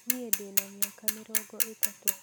Niĩ ndĩna mĩaka mĩrongo ĩtatũ